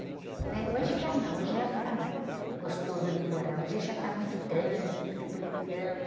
né? Hoje já não, hoje já não está mais gostoso de morar, hoje já está muito trânsito, muita poluição.